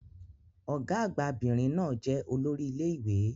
Ọ̀gá-àgbà 'bìnrin náà jẹ́ olórí ilé ìwé.